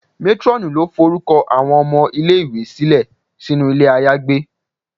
Matronù lo forukọ awọn ọmọ ile-iwe silẹ sinu ilé ayagbé.